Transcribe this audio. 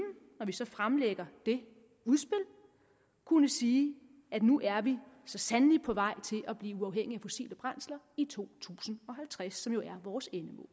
når vi så fremlægger det udspil kunne sige at nu er vi så sandelig på vej til at blive uafhængige af fossile brændsler i to tusind og halvtreds som jo er vores endemål